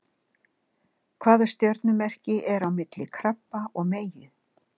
Hvaða stjörnumerki er á milli krabba og meyju?